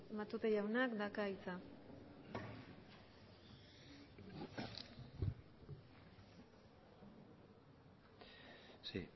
matute jaunak dauka hitza sí